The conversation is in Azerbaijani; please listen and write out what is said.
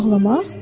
Bağlamaq?